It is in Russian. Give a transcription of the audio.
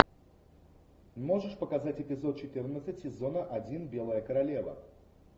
можешь показать эпизод четырнадцать сезона один белая королева